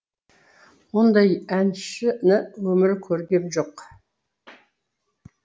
ондай әншіні өмірі көргем жоқ